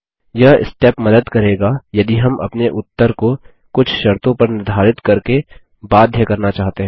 यह स्टेप मदद करेगा यदि हम अपने उत्तर को कुछ शर्तों पर निर्धारित करके बाध्य करना चाहते हैं